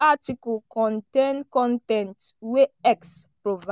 article contain con ten t wey x provi.